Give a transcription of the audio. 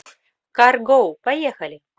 кар го поехали